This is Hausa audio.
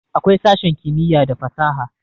awkai sashen kimiyya da fasaha